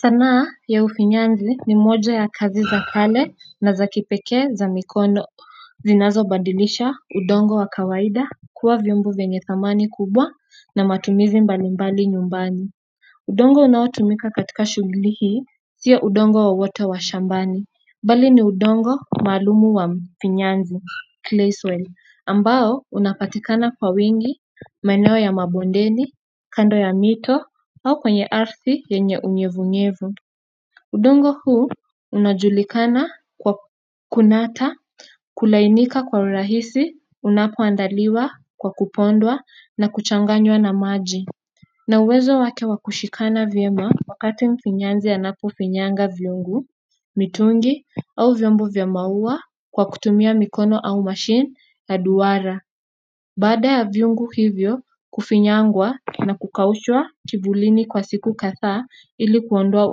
Sanaa ya ufinyanzi ni moja ya kazi za kale na za kipekee za mikono zinazobadilisha udongo wa kawaida kuwa viombo venye thamani kubwa na matumizi mbalimbali nyumbani udongo unaotumika katika shughuli hii sio udongo wowote wa shambani bali ni udongo maalumu wa mfinyanzi clay soil ambao unapatikana kwa wingi maeneo ya mabondeni, kando ya mito au kwenye ardhi yenye unyevu unyevu udongo huu unajulikana kwa kunata kulainika kwa urahisi unapoandaliwa kwa kupondwa na kuchanganya na maji na uwezo wake wa kushikana vyema wakati mfinyanzi anapofinyanga viungu, mitungi au vyombo vya maua kwa kutumia mikono au machine la dwara baada ya viungu hivyo kufinyangwa na kukaushwa kivulini kwa siku kadhaa ili kuondoa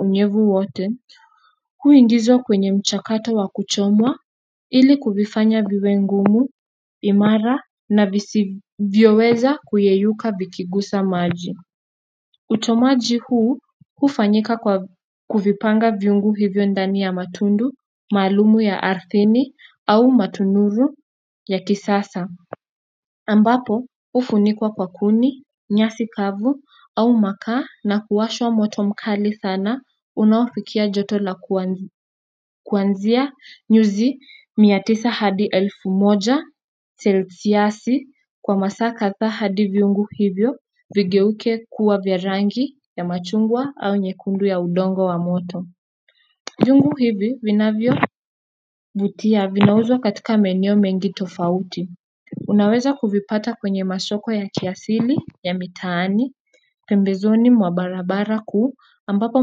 unyevu wote, huingizwa kwenye mchakato wa kuchomwa ili kuvifanya viwe ngumu, imara na visivyoweza kuyeyuka vikigusa maji. Utomaji huu hufanyika kwa kuvipanga viungu hivyo ndani ya matundu, maalumu ya ardhini au matunuru ya kisasa. Ambapo hufunikwa kwa kuni, nyasi kavu au makaa na kuwashwa moto mkali sana unaofikia joto la kuanzia nyuzi mia tisa hadi elfu moja celciasi kwa masaa kadhaa hadi viungu hivyo vigeuke kuwa vya rangi ya machungwa au nyekundu ya udongo wa moto viungu hivi vinavyovutia vinauzwa katika maeneo mengi tofauti unaweza kuvipata kwenye masoko ya kiasili, ya mitaani, pembezoni mwa barabara kuu ambapo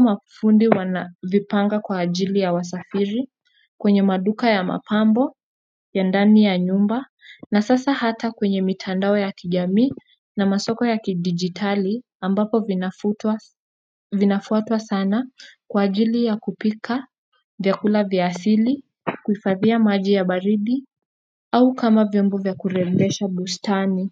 mafundi wanavipanga kwa ajili ya wasafiri, kwenye maduka ya mapambo, ya ndani ya nyumba, na sasa hata kwenye mitandao ya kijamii na masoko ya kidigitali ambapo vinafutwa vinafuatwa sana kwa ajili ya kupika, vyakula vya asili, kuhifadhia maji ya baridi au kama vyombo vya kurembesha bustani.